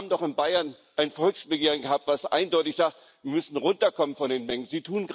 Sie haben doch in Bayern ein Volksbegehren gehabt, das eindeutig sagt Wir müssen runterkommen von den Mengen.